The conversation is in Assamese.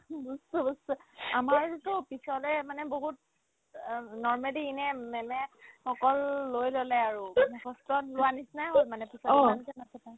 আমাৰটোতো পিছলে মানে বহুত অ normally in a ma'am য়ে অকল লৈ ল'লে আৰু মুখস্থ লোৱাৰ নিচিনাই হ'ল মানে teacher কেইটা এনেকে নাছিলে